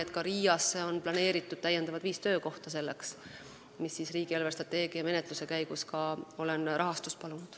RIA-sse on planeeritud selleks otstarbeks viis lisatöökohta, millele olen riigi eelarvestrateegia menetluse käigus palunud ka rahastust.